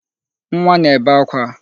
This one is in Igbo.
Nwa na-ebe akwa